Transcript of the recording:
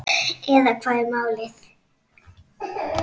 Eða hvað er málið?